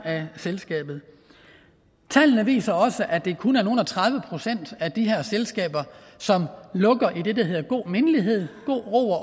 af selskabet tallene viser også at det kun er nogle og tredive procent af de her selskaber som lukker i det der hedder mindelighed god ro og